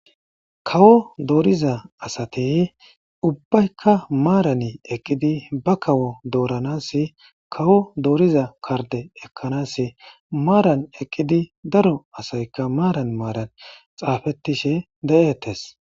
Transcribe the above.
kawo dooriza asati ubbaykka maarani eqqidi ba kawo dooranasi kawo dooriza karde ekkanasi maaran eqqidi daro asayka maaran maaran xaafettishe de7etes